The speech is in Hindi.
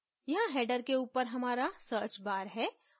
यहाँ header के ऊपर हमारा search bar है